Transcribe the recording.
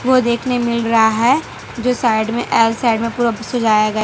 को देखने मिल रहा है जो साइड में एल साइड में पूरा सजाया गया --